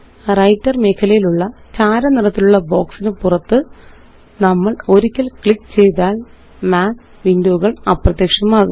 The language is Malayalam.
വ്രൈട്ടർ മേഖലയിലുള്ള ചാര നിറത്തിലുള്ള ബോക്സിന് പുറത്ത് നമ്മള് ഒരിക്കല് ക്ലിക്ക് ചെയ്താല് മാത്ത് വിൻഡോ കള് അപ്രത്യക്ഷമാകും